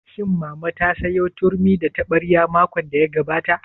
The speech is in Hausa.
Shin mama ta sayo turmi da taɓarya makon da ya gabata?